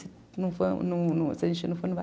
Se a gente não for, não vai.